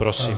Prosím.